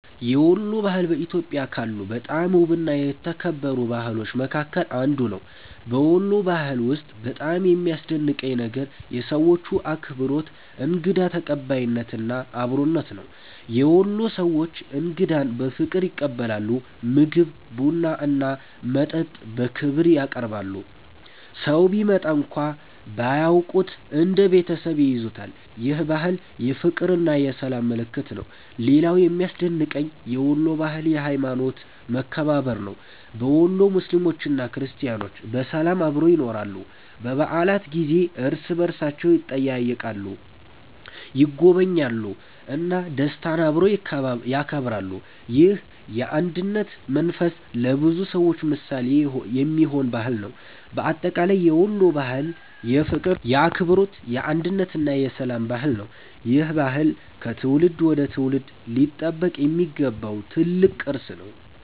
የወሎ ባህል በኢትዮጵያ ካሉ በጣም ውብና የተከበሩ ባህሎች መካከል አንዱ ነው። በወሎ ባህል ውስጥ በጣም የሚያስደንቀኝ ነገር የሰዎቹ አክብሮት፣ እንግዳ ተቀባይነት እና አብሮነት ነው። የወሎ ሰዎች እንግዳን በፍቅር ይቀበላሉ፤ ምግብ፣ ቡና እና መጠጥ በክብር ያቀርባሉ። ሰው ቢመጣ እንኳን ባያውቁት እንደ ቤተሰብ ይይዙታል። ይህ ባህል የፍቅርና የሰላም ምልክት ነው። ሌላው የሚያስደንቀኝ የወሎ ባህል የሀይማኖት መከባበር ነው። በወሎ ሙስሊሞችና ክርስቲያኖች በሰላም አብረው ይኖራሉ። በበዓላት ጊዜ እርስ በእርሳቸው ይጠያየቃሉ፣ ይጎበኛሉ እና ደስታን አብረው ያከብራሉ። ይህ የአንድነት መንፈስ ለብዙ ሰዎች ምሳሌ የሚሆን ባህል ነው። በአጠቃላይ የወሎ ባህል የፍቅር፣ የአክብሮት፣ የአንድነት እና የሰላም ባህል ነው። ይህ ባህል ከትውልድ ወደ ትውልድ ሊጠበቅ የሚገባው ትልቅ ቅርስ ነው።